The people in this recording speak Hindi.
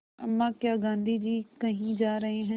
अम्मा क्या गाँधी जी कहीं जा रहे हैं